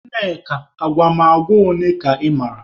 Nneka agwụgwa ole ka ị mara?